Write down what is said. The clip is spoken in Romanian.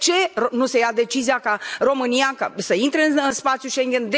De ce nu se ia decizia ca România să intre în spațiul Schengen?